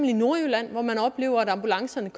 i nordjylland hvor man oplever at ambulancerne